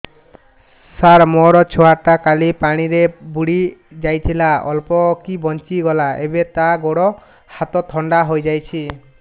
ସାର ମୋ ଛୁଆ ଟା କାଲି ପାଣି ରେ ବୁଡି ଯାଇଥିଲା ଅଳ୍ପ କି ବଞ୍ଚି ଗଲା ଏବେ ତା ଗୋଡ଼ ହାତ ଥଣ୍ଡା ହେଇଯାଉଛି